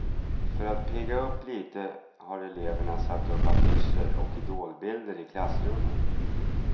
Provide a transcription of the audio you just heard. För att pigga upp lite har eleverna satt upp affischer och idolbilder i klassrummen.